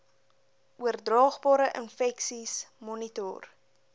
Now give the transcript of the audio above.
oordraagbare infeksies monitor